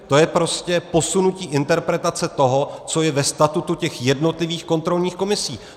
To je prostě posunutí interpretace toho, co je ve statutu těch jednotlivých kontrolních komisí.